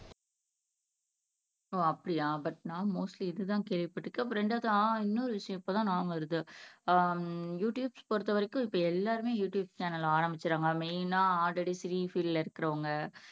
ஓ அப்படியா பட் நான் மோஸ்ட்லீ இதுதான் கேள்விப்பட்டிருக்கேன் ரெண்டாவதா இன்னொரு விஷயம் இப்பதான் ஞாபகம் வருது ஆஹ் யுடுயூப் பொறுத்தவரைக்கும் இப்ப எல்லாருமே யுடுயூப் சேனல் ஆரம்பிச்சிடறாங்க மேய்னா அல்ரெடி சினி பீல்டுல இருக்கறவங்க